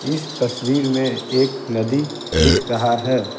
इस तस्वीर में एक नदी दिख रहा है।